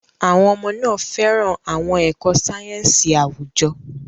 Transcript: Àwọn ọmọ náà fẹ́ràn àwọn ẹ̀kọ́ sáyẹ́ńsì àwùjọ.